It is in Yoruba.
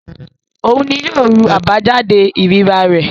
Òun ni yóò ru àbájáde ìríra rẹ̀.